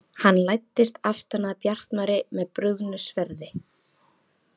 Hann læddist aftan að Bjartmari með brugðnu sverði.